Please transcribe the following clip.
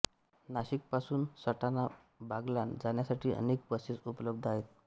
नाशिकपासून सटाणा बागलाण जाण्यासाठी अनेक बसेस उपलब्ध आहेत